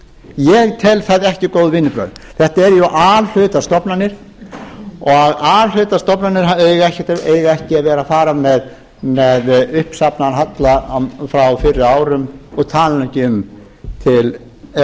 ég tel það ekki góð vinnubrögð þetta eru jú a hluta stofnanir og a hluta stofnanir eiga ekki að vera að fara með uppsafnaðan halla frá fyrri árum og ég tala nú ekki um ef